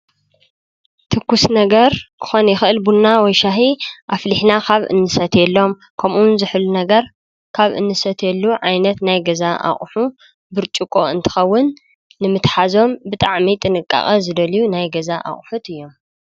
ትኩስ ነገር ክኾን ይክእል ቡና ወይ ሻሂ ኣፍሊሕና ካብ እንሰትየሎም ከምኡዉን ዝሑል ነገር ካብ እንሰትየሉ ዓይነት ናይ ገዛ ኣቑሑ ብርጭቆ እንትኸዉን ንምትሓዞም ብጣዕሚ ጥንቃቀ ዝደልዩ ናይ ገዛ አቑሑት እዩም።